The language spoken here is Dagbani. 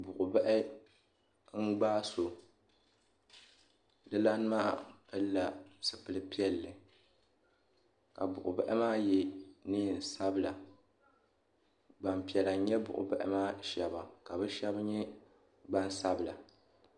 Buɣi bahi n gbaai so dilana maa pili la zupiligu piɛlli ka buɣi bahi maa ye nɛɛn sabila gbaŋ piɛlla nyɛ buɣi bahi maa shɛba ka bi shɛba nyɛ gbaŋ sabila.